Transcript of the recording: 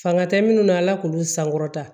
Fanga tɛ minnu na ala k'olu sankɔrɔta